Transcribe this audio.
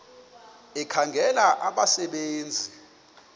ekhangela abasebe nzi